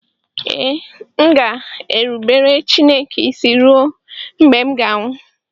Ee, m ga-erubere Chineke isi ruo mgbe m ga-anwụ